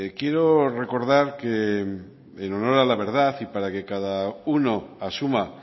quiero recordar que en honor a la verdad y para que cada uno asuma